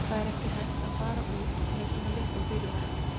Það er ekki hægt að fara út með svona litlum fyrirvara.